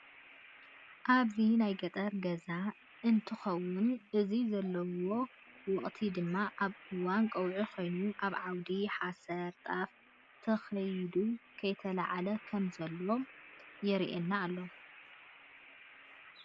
ኣብዚ ናይ ገጠር ገዛ እነተከውን እዚ ዘለዎ ወቅቲ ድማ ኣብ እዋን ቀውዒ ኮይኑ ኣብ ዓውዲ ሓሰር ጣፍ ተከይዱ ከይተለዓለ ከም ዘሎ የረኣና ኣሎ።